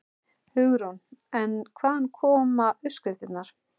Hugrún: En hvaðan koma uppskriftirnar?